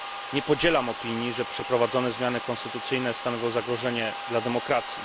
Nie podzielam opinii, że przeprowadzone zmiany konstytucyjne stanowią zagrożenie dla demokracji.